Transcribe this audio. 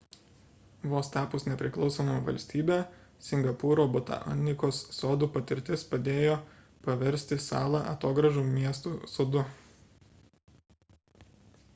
vos tapus nepriklausoma valstybe singapūro botanikos sodų patirtis padėjo paversti salą atogrąžų miestu sodu